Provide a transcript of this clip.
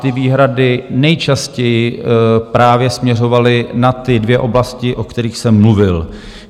Ty výhrady nejčastěji právě směřovaly na ty dvě oblasti, o kterých jsem mluvil.